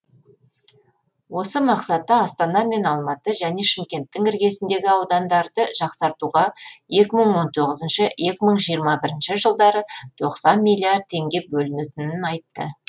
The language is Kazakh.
осы мақсатта астана мен алматы және шымкенттің іргесіндегі аудандарды жақсартуға екі мың он тоғызыншы екі мың жиырма бірінші жылдары тоқсан миллиард теңге бөлінетінін айтты